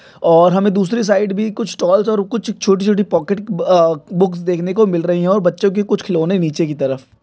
और हमे दूसरी साइड भी कुछ स्टॉल्स और कुछ छोटे छोटे पॉकेट अह बूक्स देखने को मिल रही है और बच्चों की कुछ खिलौने नीचे की तरफ --